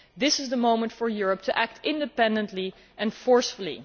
This is the moment for Europe to act independently and forcefully.